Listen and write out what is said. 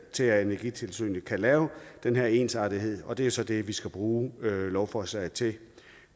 til at energitilsynet kan lave den her ensartethed og det er så det vi skal bruge lovforslaget til